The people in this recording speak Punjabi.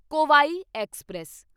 ਕੋਵਾਈ ਐਕਸਪ੍ਰੈਸ